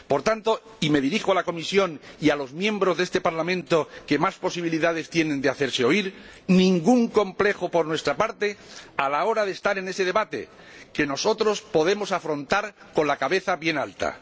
Por tanto, y me dirijo a la Comisión y a los miembros de este Parlamento que más posibilidades tienen de hacerse oír, no hay ningún complejo por nuestra parte a la hora de estar en ese debate, que nosotros podemos afrontar con la cabeza bien alta.